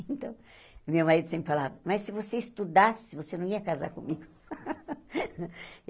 Então, meu marido sempre falava, mas se você estudasse, você não ia casar comigo.